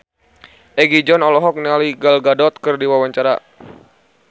Egi John olohok ningali Gal Gadot keur diwawancara